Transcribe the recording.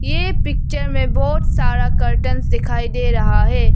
ये पिक्चर में बहोत सारा कर्टेन्स दिखाई दे रहा है।